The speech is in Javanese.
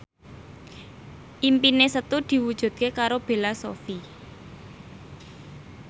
impine Setu diwujudke karo Bella Shofie